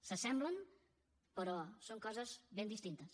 s’assemblen però són coses ben distintes